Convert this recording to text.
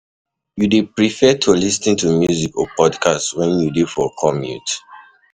You dey prefer lis ten to music or podcast when you dey for for commute?